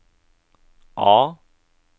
A